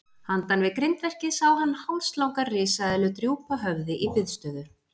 Handan við grindverkið sá hann hálslanga risaeðlu drúpa höfði í biðstöðu.